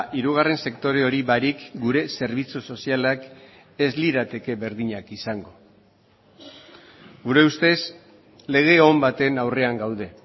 hirugarren sektore hori barik gure zerbitzu sozialak ez lirateke berdinak izango gure ustez lege on baten aurrean gaude